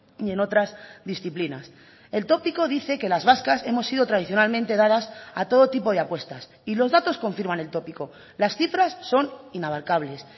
y en otras disciplinas el tópico dice que las vascas hemos sido tradicionalmente dadas a todo tipo de apuestas y los datos confirman el tópico las cifras son inabarcables